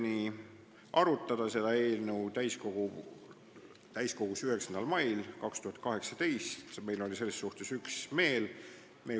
Otsustasime arutada seda eelnõu täiskogul 9. mail 2018, me olime selles suhtes üksmeelsed.